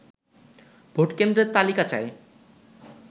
ভোটকেন্দ্রের তালিকা চায়